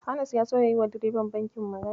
Anas ya so ya yiwa direban bankin magana.